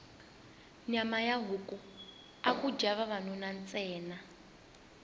nyama ya huku aku dya vavanuna ntsena